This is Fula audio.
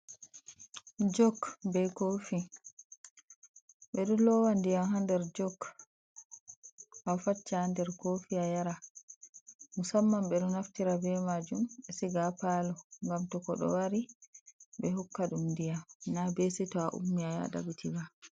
Jok be kofi, ɓeɗo lowa ndiyam ha nder jok, afacca ha nder kofi yara, musamman ɓeɗo naftira be majum ɓe siga ha palo ngam to koɗo wari ɓe hokka ɗum ndiyam na be seto a ummi aya ɗaɓitiba.